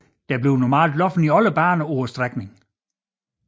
Der bliver normalt løbet i alle baner på strækningen